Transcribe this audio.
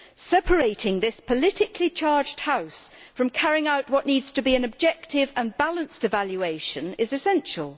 Separating this politically charged House from carrying out what needs to be an objective and balanced evaluation is essential.